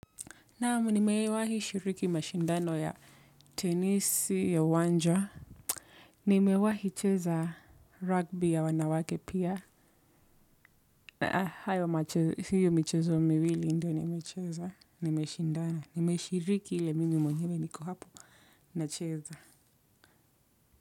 Naam, nimewahi shiriki mashindano ya tenisi ya uwanja. Nimewahi cheza rugby ya wanawake pia. Na hiyo michezo miwili ndiyo nimecheza. Nimeshiriki ile mimi mwenyewe niko hapo nacheza.